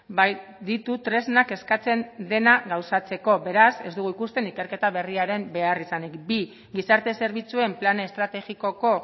bai ditu tresnak eskatzen dena gauzatzeko beraz ez dugu ikusten ikerketa berriaren beharrizanik bi gizarte zerbitzuen plan estrategikoko